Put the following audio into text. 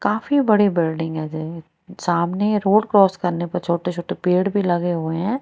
काफी बड़ी बिल्डिंग है ये सामने रोड क्रॉस करने पे छोटे छोटे पेड़ भी लगे हुए हैं।